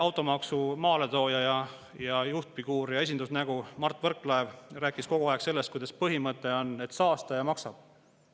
Automaksu maaletooja, juhtfiguur ja esindusnägu Mart Võrklaev rääkis kogu aeg sellest, et põhimõte on, et saastaja maksab.